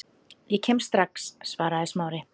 Ég kem strax- svaraði Smári.